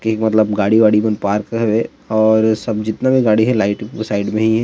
की मतलब गाड़ी - वाड़ी मन पार्क हवे और सब जितना भी गाड़ी हे राइट साइड में ही हें।